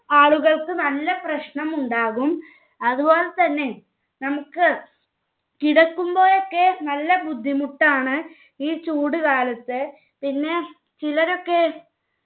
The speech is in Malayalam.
ആളുകൾക്ക് നല്ല പ്രശ്നം ഉണ്ടാകും. അതുപോലെതന്നെ നമ്മുക്ക് കിടക്കുമ്പോഴൊക്കെ നല്ല ബുദ്ധിമുട്ടാണ് ഈ ചൂട് കാലത്ത്. പിന്നെ ചിലരൊക്കെ